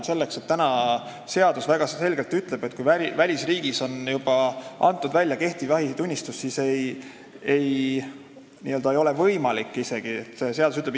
Seadus ütleb praegu väga selgelt, et kui välisriigis on juba antud välja kehtiv jahitunnistus, siis koolitus ei ole isegi võimalik, sest seadus ütleb: "...